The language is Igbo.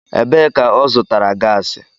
Ebee ka ọ zụtara gasi?